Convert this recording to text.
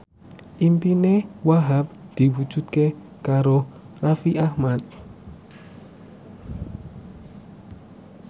impine Wahhab diwujudke karo Raffi Ahmad